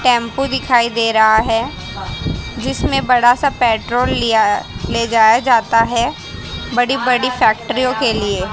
tempo दिखाई दे रहा है जिसमें बड़ा सा पेट्रोल लिया ले जाया जाता हैं बड़ी बड़ी फैक्ट्रियों के लिए--